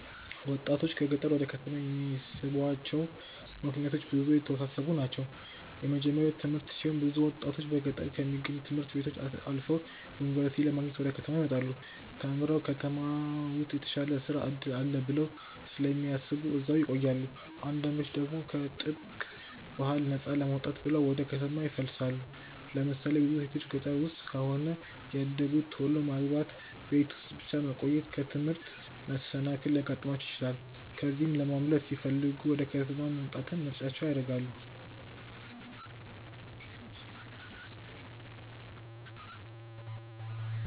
ወጣቶችን ከገጠር ወደ ከተማ የሚስቧቸው ምክንያቶች ብዙ እና የተወሳሰቡ ናቸው። የመጀመርያው ትምህርት ሲሆን ብዙ ወጣቶች በገጠር ከሚገኙ ት/ቤቶች አልፈው ዩኒቨርሲቲ ለመግባት ወደ ከተማ ይመጣሉ። ተምረውም ከተማ ውስጥ የተሻለ የስራ እድል አለ ብለው ስለሚያስቡ እዛው ይቆያሉ። አንዳንዶች ደግሞ ከጥብቅ ባህል ነፃ ለመውጣት ብለው ወደ ከተማ ይፈልሳሉ። ለምሳሌ ብዙ ሴቶች ገጠር ውስጥ ከሆነ ያደጉት ቶሎ ማግባት፣ ቤት ውስጥ ብቻ መቆየት፣ ከትምህርት መሰናከል ሊያጋጥማቸው ይችላል። ከዚህ ለማምለጥ ሲለሚፈልጉ ወደ ከተማ መምጣትን ምርጫቸው ያደርጋሉ።